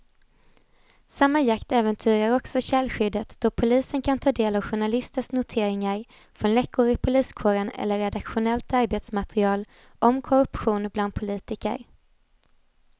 Samma jakt äventyrar också källskyddet då polisen kan ta del av journalisters noteringar från läckor i poliskåren eller redaktionellt arbetsmaterial om korruption bland politiker.